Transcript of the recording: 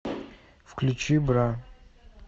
включи бра